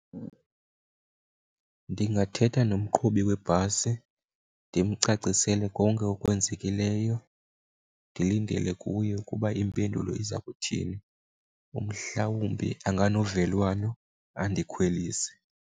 Ndingathetha nomqhubi webhasi ndimcacisele konke okwenzekileyo. Ndilindele kuye ukuba impendulo iza kuthini, umhlawumbi anganovelwano andikhwelise.